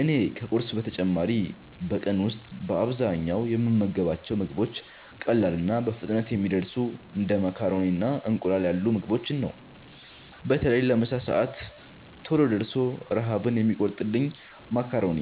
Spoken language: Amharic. እኔ ከቁርስ በተጨማሪ በቀን ውስጥ በአብዛኛው የምመገባቸው ምግቦች ቀላልና በፍጥነት የሚደርሱ እንደ ማካሮኒና እንቁላል ያሉ ምግቦችን ነው። በተለይ ለምሳ ሰዓት ቶሎ ደርሶ ረሃብን የሚቆርጥልኝን ማካሮኒ